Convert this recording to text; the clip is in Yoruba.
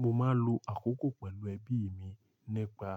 Mo máa ń lo àkókò pẹ̀lú ẹbí mi nípa